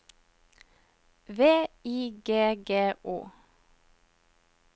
V I G G O